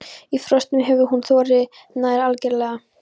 Í frostum hefur hún þorrið nær algerlega.